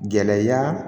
Gɛlɛya